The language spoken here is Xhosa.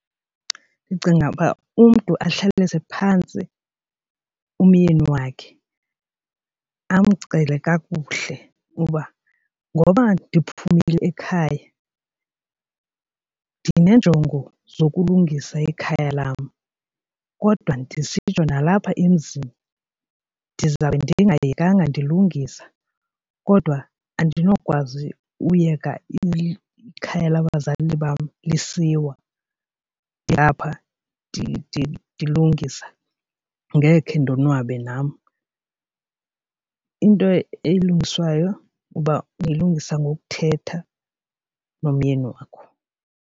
Ndicinga uba umntu ahlalise phantsi umyeni wakhe amcele kakuhle uba ngoba ndiphumile ekhaya ndineenjongo zokulungisa ikhaya lam kodwa ndisitsho nalapha emzini ndizawube ndingayekanga ndilungisa kodwa andinokwazi uyeka ikhaya labazali bam lisaziwa ngapha ndilungisa, ngeke ndonwabe nam. Into elungiswayo uba niyilungisa ngokuthetha nomyeni wakho.